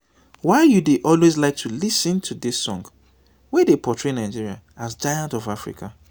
why you dey always like to lis ten to dis song wey dey portray nigeria as giant ofafrica?